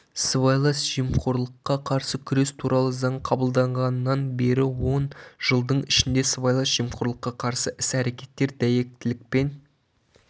сыбайлас жемқорлыққа қарсы күрес туралы заң қабылданғаннан бері он жылдың ішінде сыбайлас жемқорлыққа қарсы іс-әрекеттер дәйектілікпен